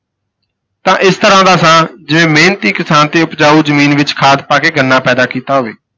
ਤਾਂ ਇਸ ਤਰ੍ਹਾਂ ਦਾ ਸਾਂ ਜਿਵੇਂ ਮਿਹਨਤੀ ਕਿਸਾਨ ਤੇ ਉਪਜਾਊ ਜ਼ਮੀਨ ਵਿੱਚ ਖਾਦ ਪਾ ਕੇ ਗੰਨਾ ਪੈਦਾ ਕੀਤਾ ਹੋਵੇ।